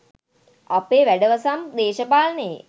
අපේ වැඩවසම් දේශපාලනයේ